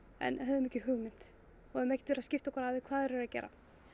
en höfðum ekki hugmynd og höfum ekkert að skipta okkur af því hvað þeir eru að gera